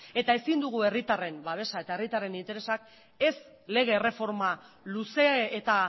eta ezin dugu herritarren babesa eta herritarren interesak ez lege erreforma luze eta